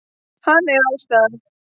Hann er allsstaðar.